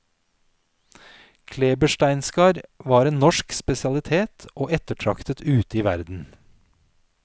Klebersteinskar var en norsk spesialitet og ettertraktet ute i verden.